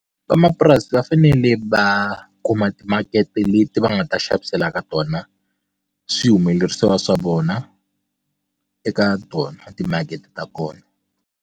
Van'wamapurasi va fanele va kuma timakete leti va nga ta xavisela ka tona swihumelerisiwa swa vona eka tona timakete ta kona.